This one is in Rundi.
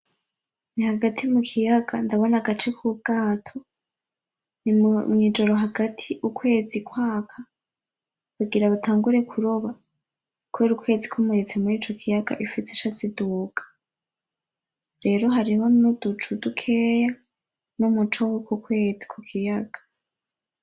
Ni hagati mu kiyaga, ndabona agace k'ubwato, ni mwijoro hagati ukwezi kwaka bagira batangure kuroba kubera ukwezi kumuritse murico kiyaga ifi zica ziduga. Rero hariho n'uducu dukeya n'umuco wuko kwezi kukigaya.